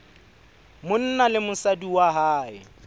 monna le mosadi wa hae